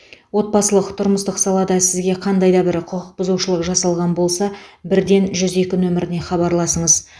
отбасылық тұрмыстық салада сізге қандай да бір құқық бұзушылық жасалған болса бірден жүз екі нөміріне хабарласыңыз